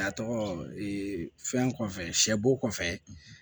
A tɔgɔ fɛn kɔfɛ sɛ bo kɔfɛ